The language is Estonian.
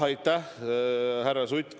Aitäh, härra Sutt!